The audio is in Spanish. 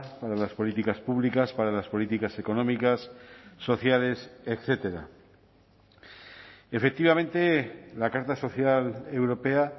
para las políticas públicas para las políticas económicas sociedades etcétera efectivamente la carta social europea